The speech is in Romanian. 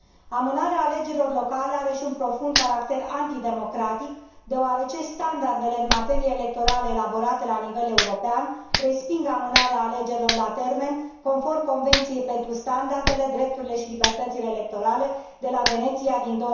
Amânarea alegerilor locale are și un profund caracter antidemocratic, deoarece standardele în materie electorală elaborate la nivel european resping amânarea alegerilor la termen, conform Convenției pentru standardele, drepturile și libertățile electorale de la Veneția din